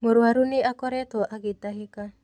Mũrũaru nĩ akoretwo agĩtahĩka.